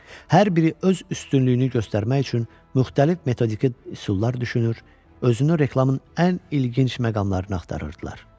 Hər biri öz üstünlüyünü göstərmək üçün müxtəlif metodiki üsullar düşünür, özünü reklamın ən ilginc məqamlarını axtarırdılar.